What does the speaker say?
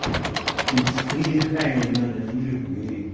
тут с придыханием надо андрюха говорить